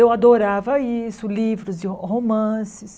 Eu adorava isso, livros de romances.